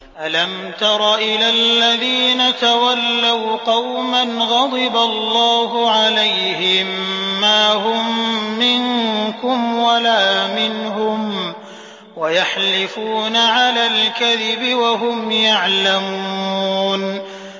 ۞ أَلَمْ تَرَ إِلَى الَّذِينَ تَوَلَّوْا قَوْمًا غَضِبَ اللَّهُ عَلَيْهِم مَّا هُم مِّنكُمْ وَلَا مِنْهُمْ وَيَحْلِفُونَ عَلَى الْكَذِبِ وَهُمْ يَعْلَمُونَ